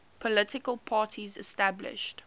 political parties established